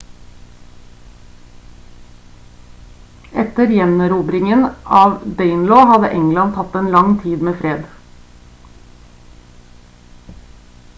etter gjenerobringen av danelaw hadde england hatt en lang tid med fred